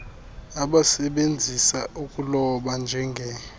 abasebenzisa ukuloba njenge